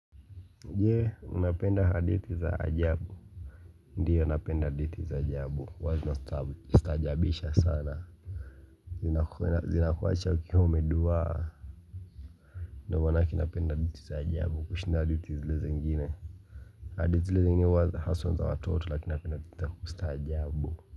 Je unapenda hadithi za ajabu ndiyo napenda hadithi za ajabu huwa zinastajabisha sana zinakuwacha ukiwa umeduwaa ndio manake napenda hadithi za ajabu kushinda hadithi zile zengine hadithi zile zingine huwa haswa za watoto lakini napenda hadithi za kustajabu.